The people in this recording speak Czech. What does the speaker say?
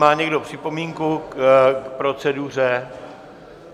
Má někdo připomínku k proceduře?